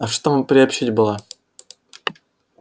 а чтобы приобщить было